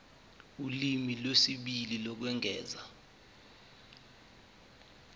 ulimi lwesibili lokwengeza